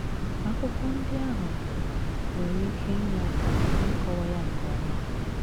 Akwụkwọ ndị ahụ nwere ike inye aka n’ịkọwa ya nke ọma.